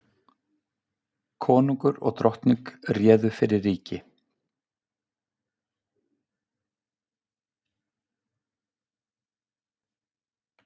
Konungur og drottning réðu fyrir ríki.